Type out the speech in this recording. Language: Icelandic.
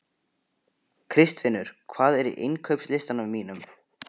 Kristfinnur, hvað er á innkaupalistanum mínum?